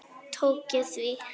Tók ég því?